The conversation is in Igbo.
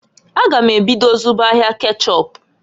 A gam ebido zụba ahịa kechọp.